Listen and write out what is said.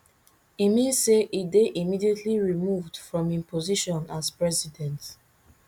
e mean say e dey immediately removed from im position as president